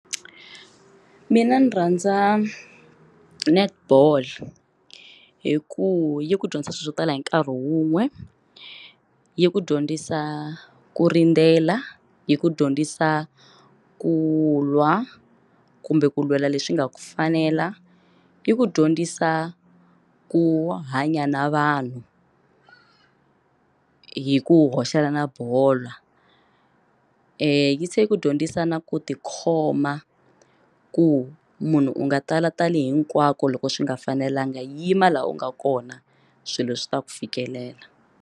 Mina ndzi rhandza netball hi ku yi ku dyondzisa swilo swo tala hi nkarhi wun'we yi ku dyondzisa ku rindzela, yi ku dyondzisa ku lwa kumbe ku lwela leswi nga ku fanela, i ku dyondzisa ku hanya na vanhu hi ku hoxela na bola yi se ku dyondzisa na ku tikhoma ku munhu u nga tala tali hinkwako loko swi nga fanelanga yima laha u nga kona swilo swi ta ku fikelela.